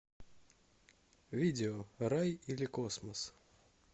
видео рай или космос